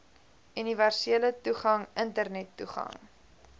universele toegang internettoegang